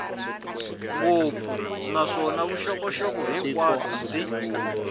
ngopfu naswona vuxokoxoko hinkwabyo byi